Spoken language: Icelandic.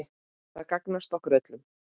Það gagnast okkur öllum.